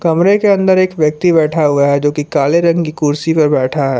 कमरे के अंदर एक व्यक्ति बैठा हुआ है जोकि काले रंग की कुर्सी पर बैठा है।